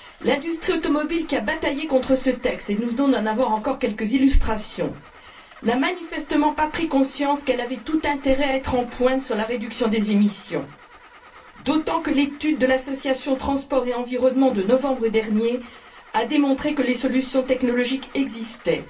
L'industrie automobile, qui a bataillé contre ce texte, et nous venons d'en avoir encore quelques illustrations, n'a manifestement pas pris conscience qu'elle avait tout intérêt à être en pointe sur la réduction des émissions, d'autant que l'étude de l'association Transport et environnement de novembre dernier a démontré que les solutions technologiques existaient.